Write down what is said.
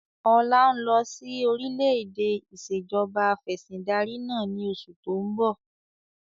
Ọlá ń lọ síí orílẹ̀-èdẹ̀ ìsèjọba afẹ̀sindarí náà ni oṣù to ń bọ̀